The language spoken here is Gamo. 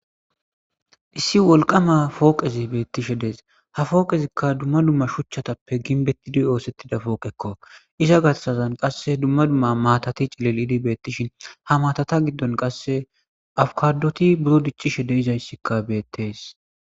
Issi wolqama fooqezi beettishe dees ha fooqezikka dumma dumma shuchchatappe ginbetidi oosettida pooqekko iza gassazan qasse dumma dumma maatati cilil idi beettishin ha maatata giddon qasse awkadoti buro diccishe deizayssikka beettes.